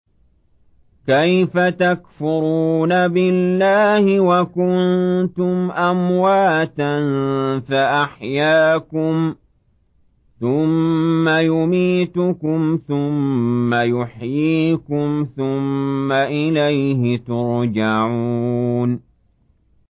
كَيْفَ تَكْفُرُونَ بِاللَّهِ وَكُنتُمْ أَمْوَاتًا فَأَحْيَاكُمْ ۖ ثُمَّ يُمِيتُكُمْ ثُمَّ يُحْيِيكُمْ ثُمَّ إِلَيْهِ تُرْجَعُونَ